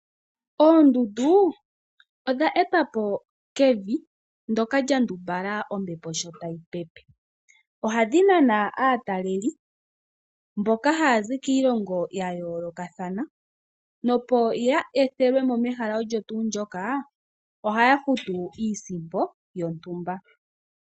Oondundu odha etwa po kevi ndoka lya ndumbala ombepo sho tayi pepe, ohadhi nana aataleli po mboka haya zi kiilonga ya yoolokathana, nopo ya etelwe mo mehala olyo tuu ndyoka ohaya futu iisimpo